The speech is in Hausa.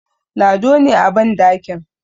Lado ne a bandakin